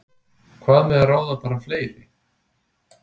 Hvað með að ráða bara fleiri?